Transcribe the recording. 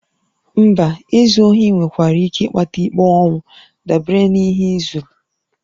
Mba, izu ohi nwekwara ike ịkpata ikpe ọnwụ dabere n'ihe ị zuru